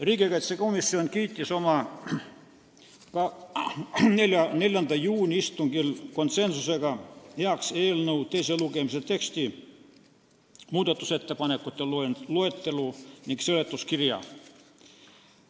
Riigikaitsekomisjon kiitis oma 4. juuni istungil konsensusega heaks eelnõu teise lugemise teksti, muudatusettepanekute loetelu ning seletuskirja.